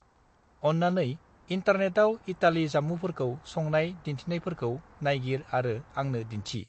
अन्नानै इन्टार्नेटाव इतालि जामुफोरखौ संनाय दिन्थिनायफोरखौ नायगिर आरो आंनो दिन्थि।